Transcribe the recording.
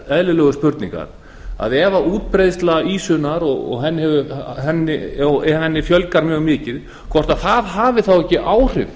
eðlilegu spurningar að ef útbreiðsla ýsunni og ef henni fjölgar mjög mikið hvorki að hafi ekki áhrif